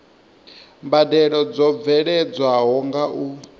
mbadelo dzo bveledzwaho nga u